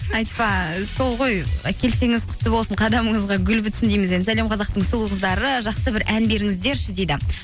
айтпа сол ғой і келсеңіз құтты болсын қадамыңызға гүл бітсін дейміз енді сәлем қазақтың сұлу қыздары жақсы бір ән беріңіздерші дейді